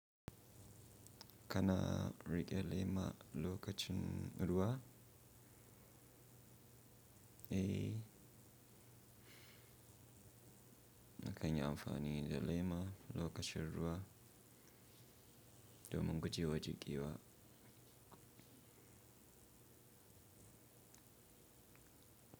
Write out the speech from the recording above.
Kana riƙe lema lokacin ruwa, eh, na kan yi amfani da lema lokacin ruwa domin gujewa jiƙewa.